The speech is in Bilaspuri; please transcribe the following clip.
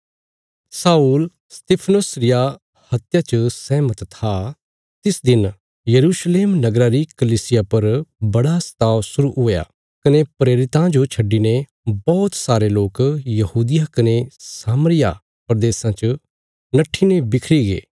शाऊल स्तिफनुस रिया हत्या च सहमत था तिस दिन यरूशलेम नगरा री कलीसिया पर बड़ा सताव शुरु हुआ कने प्रेरितां जो छड्डिने बौहत सारे लोक यहूदिया कने सामरिया प्रदेशां च नट्ठीने बिखरी गे